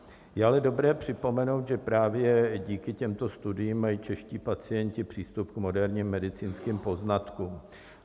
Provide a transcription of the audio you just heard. Je ale dobré připomenout, že právě díky těmto studiím mají čeští pacienti přístup k moderním medicínským poznatkům.